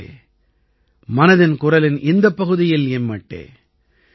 நண்பர்களே மனதின் குரலின் இந்தப் பகுதியில் இம்மட்டே